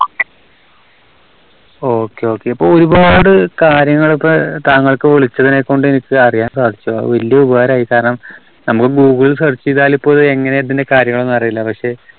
okay, okay. ഇപ്പോ ഒരുപാട് കാര്യങ്ങളൊക്കെ താങ്കൾക്ക് വിളിച്ചതിനെകൊണ്ട് എനിക്ക് അറിയാൻ സാധിച്ചു. അത് വല്ല്യ ഉപകാരമായി കാരണം നമ്മള് ഗൂഗിൾ search ചെയ്താല് ഇപ്പോ ഇത് എങ്ങനെ ഇതിന്റെ കാര്യങ്ങളെന്ന് അറിയില്ല. പക്ഷേ